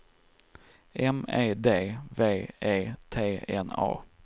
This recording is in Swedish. M E D V E T N A